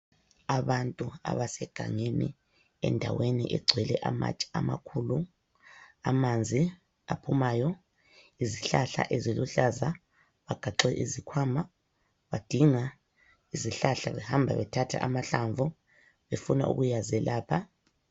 Abantu abasegangeni, endaweni egcwele amatshe amakhulu. Amanzi aphumayo. Izihlahla eziluhlaza. Bagaxe izikhwama, badinga izihlahla, behamba bethatha amahlamvu, befuna ukuyazelapha.